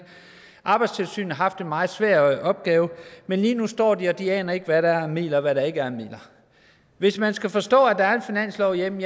arbejdstilsynet har haft en meget svær opgave men lige nu står de der og de aner ikke hvad der er af midler og hvad der ikke er af midler hvis man skal forstå at der er en finanslov jamen